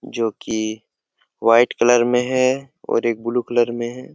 जो कि white colour में है और एक ब्लू कलर में हैं।